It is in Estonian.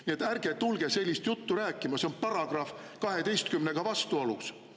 Nii et ärge tulge sellist juttu rääkima, see on §‑ga 12 vastuolus.